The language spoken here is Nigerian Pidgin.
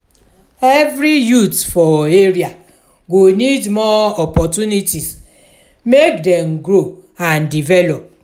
every youth for area go need more opportunities make dem grow and develop.